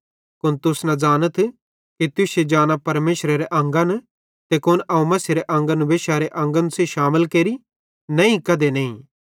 कुन तुस न ज़ानथ कि तुश्शी जाना मसीहेरे अंगन ते कुन अवं मसीहेरे अंगन वेश्यारे अंगन सेइं शामिल केरि नईं कधी नईं